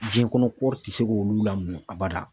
Jɛn kɔnɔ kɔri ti se k'olu a bada.